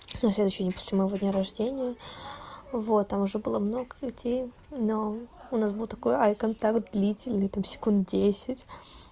на следующий день после моего дня рождения вот там уже было много людей но у нас был такой ай контакт длительный там секунд десять